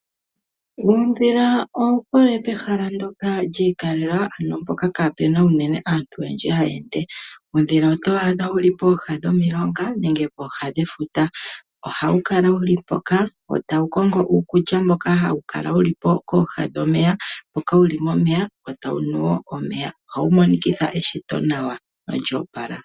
Uudhila owuhole pehala ndjoka ndjiikalela ano mpoka kaapuna unene aantu oyendji tayeende, uudhila otwaadha wuli pooha dhomilonga nenge pooha dhefuta ,ohawu kala wuli mpoka wo tawu kongo uukulya wawo mboka hawu kala wuli pooha dhomeya nenge wuli momeya wo tawu nu woo omeya, ohawu monikitha eshito nawa nolyoopala.